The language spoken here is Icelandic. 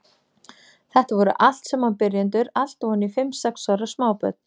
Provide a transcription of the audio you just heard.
Þetta voru allt saman byrjendur, allt ofan í fimm, sex ára smábörn.